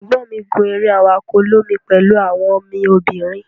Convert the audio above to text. egbon mi gun ere awako olomi pelu awon mi obinrin.